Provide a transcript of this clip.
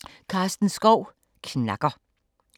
Skov, Karsten: Knacker I